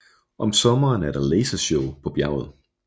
Om sommeren er der lasershow på bjerget